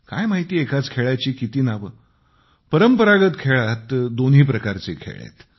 काय माहिती एकाच खेळाची किती नावे परंपरागत खेळात दोन्ही प्रकारचे खेळ आहेत